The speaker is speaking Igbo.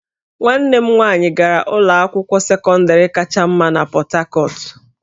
Nwanne m nwanyị gara ụlọ akwụkwọ sekọndịrị kacha mma na Pọt Hakọt.